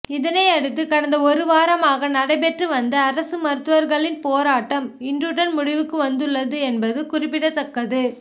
இதனை அடுத்து கடந்த ஒரு வாரமாக நடைபெற்று வந்த அரசு மருத்துவர்களின் போராட்டம் இன்றுடன் முடிவுக்கு வந்துள்ளது என்பது குறிப்பிடத்தக்கது